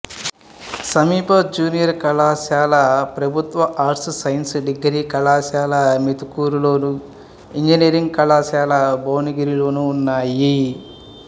సమీప జూనియర్ కళాశాల ప్రభుత్వ ఆర్ట్స్ సైన్స్ డిగ్రీ కళాశాల మోత్కూరులోను ఇంజనీరింగ్ కళాశాల భువనగిరిలోనూ ఉన్నాయి